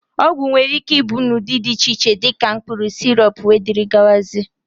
ọgwụ nwere ike ịbụ n'ụdị dị iche iche, dị ka mkpụrụ, sirọp wdg